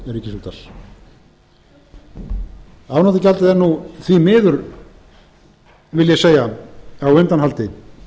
upphafstímum ríkisútvarps afnotagjaldið er nú því miður vil ég segja á undanhaldi